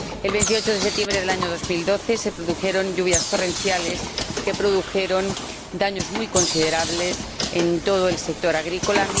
El 28 de septiembre de 2012 cayeron lluvias torrenciales que produjeron daños muy considerables en todo el sector agrícola.